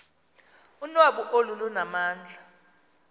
unwabu olu lunamandla